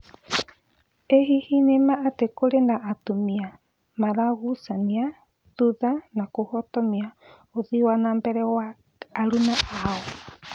Ĩ hihi nĩma atĩ kũrĩ na atumia maragucania thutha na kũhotomia ũthii wa nambere wa aruna ao?